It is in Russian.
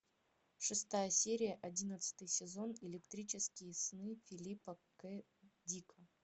шестая серия одиннадцатый сезон электрические сны филипа к дика